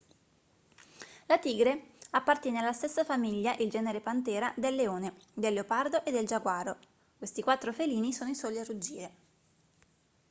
la tigre appartiene alla stessa famiglia il genere panthera del leone del leopardo e del giaguaro. questi quattro felini sono i soli a ruggire